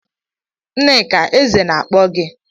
Nneka, Eze na akpo gi